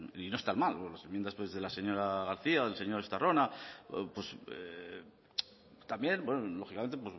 y no están mal las enmiendas de la señora garcía o del señor estarrona pues también bueno lógicamente